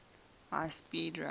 high speed rail